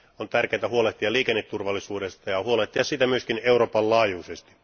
On tärkeää huolehtia liikenneturvallisuudesta ja huolehtia siitä myöskin Euroopan laajuisesti.